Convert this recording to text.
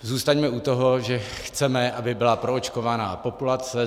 Zůstaňme u toho, že chceme, aby byla proočkovaná populace.